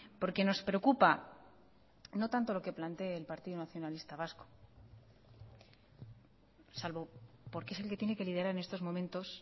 porque nos preocupa no tanto lo que plantee el partido nacionalista vasco salvo porque es el que tiene que liderar en estos momentos